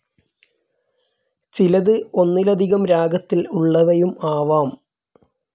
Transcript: ചിലത്, ഒന്നിലധികം രാഗത്തിൽ ഉള്ളവയും ആവാം.